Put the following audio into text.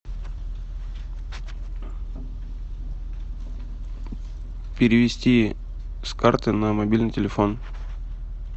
перевести с карты на мобильный телефон